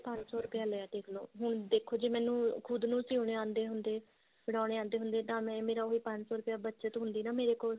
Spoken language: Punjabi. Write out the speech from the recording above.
ਪੰਜ ਸੋ ਰੁਪਿਆ ਲਿਆ ਦੇਖਲੋ ਦੇਖੋ ਜੇ ਮੈਨੂੰ ਖੁਦ ਨੂੰ ਸਿਉਣੇ ਆਉਂਦੇ ਹੁੰਦੇ ਬਣਾਉਣੇ ਆਉਂਦੇ ਹੁੰਦੇ ਤਾਂ ਉਹ ਪੰਜ ਸੋ ਰੁਪਿਆ ਮੇਰਾ ਉਹ ਬੱਚਤ ਹੁੰਦੀ ਨਾ ਮੇਰੇ ਕੋਲ